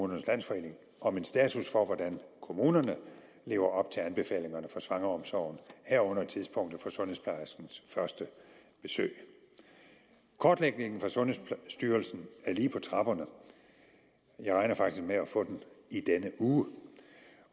landsforening om en status for hvordan kommunerne lever op til anbefalingerne for svangreomsorgen herunder tidspunktet for sundhedsplejerskens første besøg kortlægningen fra sundhedsstyrelsen er lige på trapperne jeg regner faktisk med at få den i denne uge